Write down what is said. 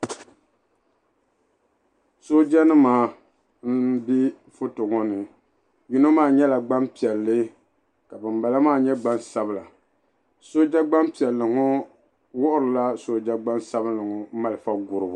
Sooja nima m be foto ŋɔ ni yino maa nyɛla gbampiɛlli ka banbala maa nyɛ gbansabla sooja gbampiɛlli ŋɔ wuhirila sooja gbansabinli ŋɔ malifa guribu.